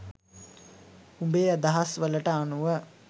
උබේ අදහස් වලට අනුව